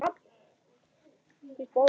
át hún upp eftir honum.